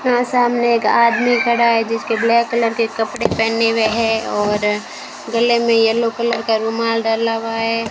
सामने एक आदमी खड़ा है जिसके ब्लैक कलर के कपड़े पहने हुए हैं और गले में येलो कलर का रुमाल डाला हुआ है।